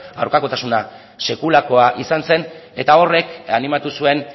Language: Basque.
aurkakotasuna sekulakoa izan zen eta horrek animatu zuen